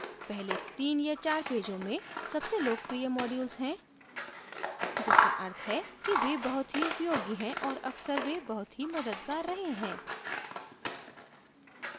पहले तीन या चार पेजों में सबसे लोकप्रिय modules हैं जिसका अर्थ है कि वे बहुत ही उपयोगी है और अक्सर वे बहुत ही मददगार रहे हैं